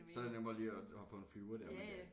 Så det nemmere lige at hoppe på en flyver dér ik